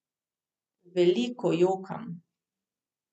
Veliko jokam.